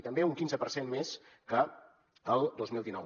i també un quinze per cent més que el dos mil dinou